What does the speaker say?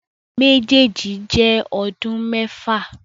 Méjèèjì jẹ́ ọdún mẹ́fà.